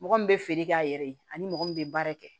Mɔgɔ min bɛ feere k'a yɛrɛ ye ani mɔgɔ min bɛ baara kɛ